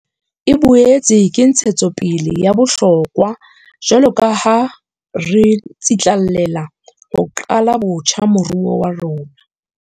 E boetse ke ntshetsopele ya bohlokwa jwaloka ha re tsitlallela ho qala botjha moruo wa rona.